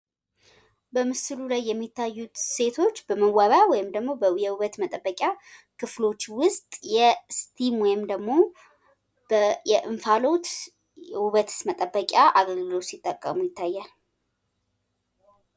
በምስሉ ላይ የሚታዩት ሴቶች በመዋቢያ ወይም ደግሞ በውበት መጠበቂያ ክፍሎች ውስጥ የኢስቲም ወይም ደግሞ የእንፋሎት የውበት መጠበቂያ አገልግሎት ሲጠቀሙ ይታያል።